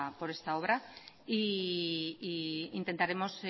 por esta obra e intentaremos